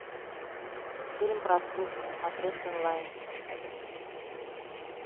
фильм простушка смотреть онлайн